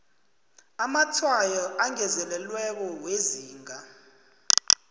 amatshwayo angezelelweko wezinga